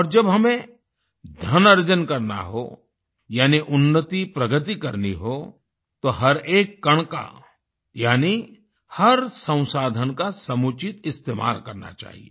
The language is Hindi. और जब हमें धन अर्जन करना हो यानि उन्नतिप्रगति करनी हो तो हर एक कण का यानि हर संसाधन का समुचित इस्तेमाल करना चाहिए